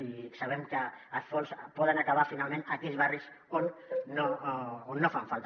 i sabem que els fons poden acabar finalment en aquells barris on no fan falta